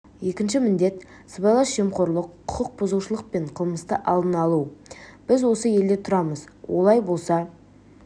екінші міндет сыбайлас жемқорлық құқық бұзушылық пен қылмысты алдын алу біз осы елде тұрамыз олай болса